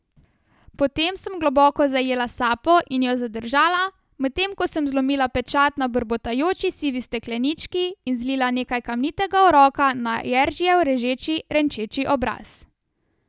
Potem sem globoko zajela sapo in jo zadržala, medtem ko sem zlomila pečat na brbotajoči sivi steklenički in zlila nekaj kamnitega uroka na Jeržijev režeči, renčeči obraz.